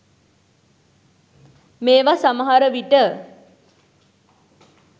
මේව සමහර විට